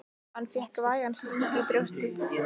Hann fékk vægan sting í brjóstið.